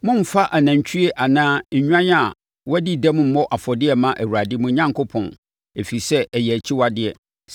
Mommfa anantwie anaa nnwan a wɔadi dɛm mmɔ afɔdeɛ mma Awurade, mo Onyankopɔn, ɛfiri sɛ, ɛyɛ nʼakyiwadeɛ.